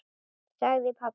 sagði pabbi.